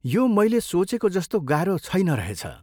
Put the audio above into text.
यो मैले सोचेको जस्तो गाह्रो छैन रहेछ।